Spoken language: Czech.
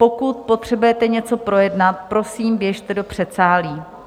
Pokud potřebujete něco projednat, prosím, běžte do předsálí.